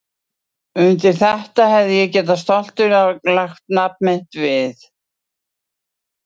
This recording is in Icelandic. Undir þetta hefði ég getað stoltur lagt nafn mitt við.